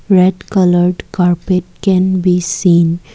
red coloured carpet can be seen.